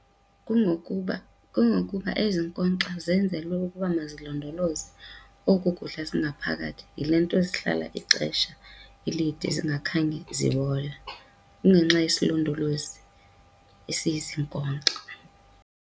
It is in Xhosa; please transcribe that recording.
Kungokuba, kungokuba ezi nkonkxa zenzelwe ukuba mazilondoloze oku kudla zingaphakathi, yile nto zihlala ixesha elide zingakhange zibole. Kungenxa yesilondolozi esiye sinkonkxwe.